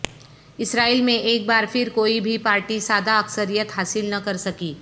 اسرائیل میں ایک بار پھر کوئی بھی پارٹی سادہ اکثریت حاصل نہ کرسکی